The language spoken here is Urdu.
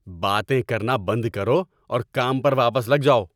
باتیں کرنا بند کرو اور کام پر واپس لگ جاؤ!